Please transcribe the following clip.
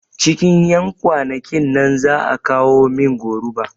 Cikin ƴan kwanakin nan za'a kawo min goruba